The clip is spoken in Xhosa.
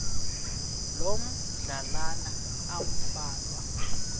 loo madlalana ambalwa